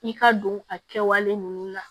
I ka don a kɛwale ninnu na